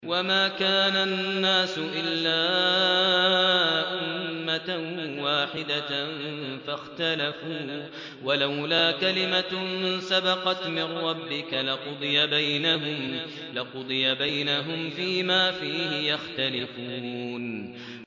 وَمَا كَانَ النَّاسُ إِلَّا أُمَّةً وَاحِدَةً فَاخْتَلَفُوا ۚ وَلَوْلَا كَلِمَةٌ سَبَقَتْ مِن رَّبِّكَ لَقُضِيَ بَيْنَهُمْ فِيمَا فِيهِ يَخْتَلِفُونَ